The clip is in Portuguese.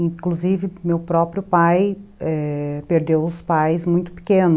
Inclusive, meu próprio pai perdeu os pais muito pequeno.